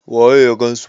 waye ya gansu